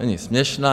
Není směšná.